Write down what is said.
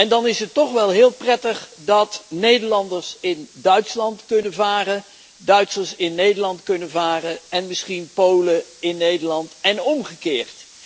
Dan is het toch wel heel prettig dat Nederlanders in Duitsland kunnen varen, Duitsers in Nederland kunnen varen en misschien Polen in Nederland en omgekeerd.